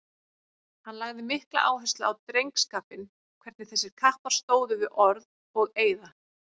Hann lagði mikla áherslu á drengskapinn, hvernig þessir kappar stóðu við orð og eiða.